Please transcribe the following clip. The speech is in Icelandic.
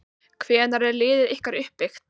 Hvernig er liðið ykkar uppbyggt?